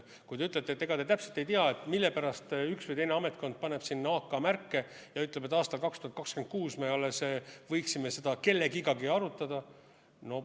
Kui te ütlete, et ega te täpselt ei tea, mille pärast üks või teine ametkond paneb sinna AK-märke ja ütleb, et aastal 2026 me võiksime seda kellegagi arutada.